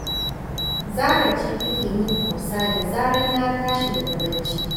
Zara ce take yi min tausa da zarar na tashi daga bacci